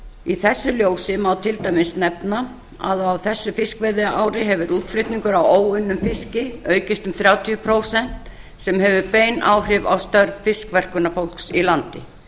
í þessu ljósi má til dæmis nefna að á þessu fiskveiðiári hefur útflutningur á óunnum fiski aukist um þrjátíu prósent sem hefur bein áhrif á störf fiskverkunarfólks í landi